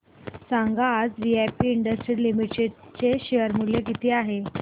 सांगा आज V I P industries limited चे शेअर चे मूल्य किती आहे